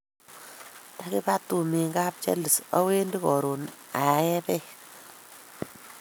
Takipa tumin kapcharles awendfi koron ae peek .